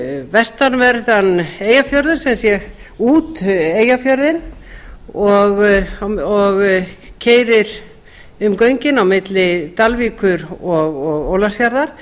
vestanverðan eyjafjörð sem sé út eyjafjörðinn og keyrir um göngin á milli dalvíkur og ólafsfjarðar